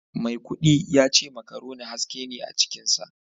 Maikudi yace macaroni haske ne a cikinsa